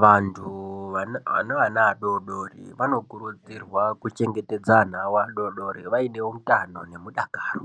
Vantu vane vana vadodori vanokurudzirwa kuchengetedza ana avo adodori vaine utano nemudakaro.